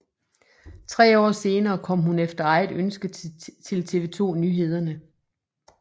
Tre år senere kom hun efter eget ønske til TV 2 Nyhederne